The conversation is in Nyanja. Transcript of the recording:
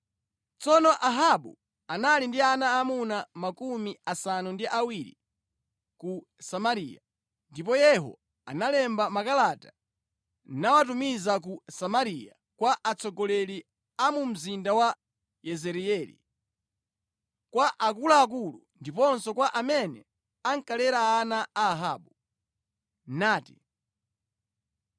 Tsono Ahabu anali ndi ana aamuna 70 a ku Samariya. Ndipo Yehu analemba makalata nawatumiza ku Samariya kwa atsogoleri a mu mzinda wa Yezireeli, kwa akuluakulu ndiponso kwa amene ankalera ana a Ahabu, nati,